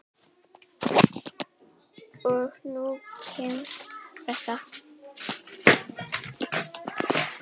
Og nú kemur þetta.